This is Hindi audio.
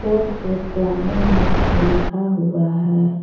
बोर्ड पे पलामू मार्ट लिखा हुआ है।